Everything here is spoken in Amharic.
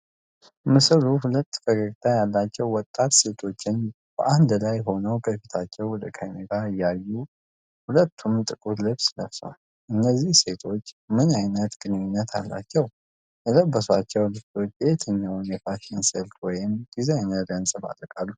ምስሉ ሁለት ፈገግታ ያላቸው ወጣት ሴቶችን በአንድ ላይ ሆነው ከፊታቸው ወደ ካሜራው እያዩ ፤ ሁለቱም ጥቁር ልብስ ለብሰዋል። ነዚህ ሴቶች ምን አይነት ግንኙነት አላቸው? የለበሷቸው ልብሶች የትኛውን የፋሽን ስልት ወይም ዲዛይነር ያንፀባርቃሉ?